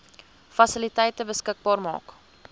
fasiliteite beskikbaar maak